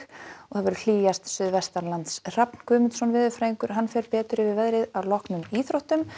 og hlýjast suðvestanlands Hrafn Guðmundsson veðurfræðingur fer betur yfir veðrið að loknum íþróttum